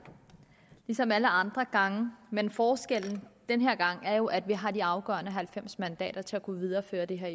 ligesom alle andre gange men forskellen den her gang er jo at vi har de afgørende halvfems mandater til at kunne føre det her